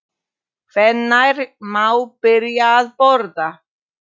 Hvenær má byrja að borða?